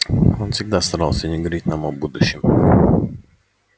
он всегда старался не говорить нам о будущем